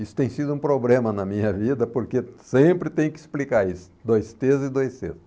Isso tem sido um problema na minha vida porque sempre tem que explicar isso, dois tês e dois cês.